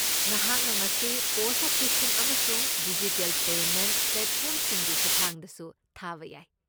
ꯅꯍꯥꯛꯅ ꯃꯁꯤ ꯄꯣꯁꯠ ꯑꯣꯐꯤꯁꯁꯤꯡ ꯑꯃꯁꯨꯡ ꯗꯤꯖꯤꯇꯦꯜ ꯄꯦꯃꯦꯟꯠ ꯄ꯭ꯂꯦꯠꯐꯣꯔꯝꯁꯤꯡꯒꯤ ꯈꯨꯠꯊꯥꯡꯗꯁꯨ ꯊꯥꯕ ꯌꯥꯏ꯫